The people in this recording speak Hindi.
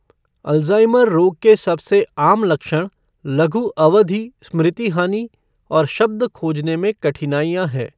अल्ज़ाइमर रोग के सबसे आम लक्षण लघु अवधि स्मृति हानि और शब्द खोजने में कठिनाइयाँ हैं।